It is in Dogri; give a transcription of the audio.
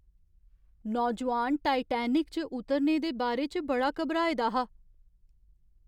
नौजोआन टाइटैनिक च उतरने दे बारे च बड़ा घबराए दा हा।